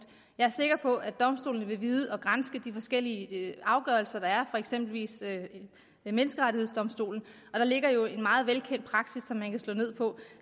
jeg er sikker på at domstolene vil vide at granske de forskellige afgørelser der er for eksempel ved menneskerettighedsdomstolen og der ligger jo en meget velkendt praksis som man kan slå ned på